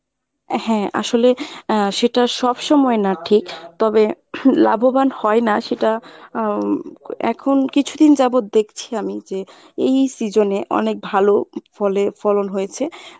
এ হ্যাঁ আসলে আহ সেটা সব সময় না ঠিক। তবে লাভবান হয় না সেটা হম এখন কিছুদিন যাবত দেখছি আমি যে এই season এ অনেক ভালো ফলে ফলন হয়েছে।